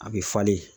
A bɛ falen